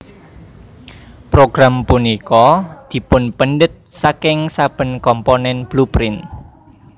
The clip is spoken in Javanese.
Progrm punika dipunpendhet saking saben komponen blueprint